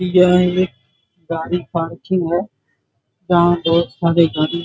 यह एक गाड़ी पार्किंग है जहाँ बोहत सारे गाड़ी --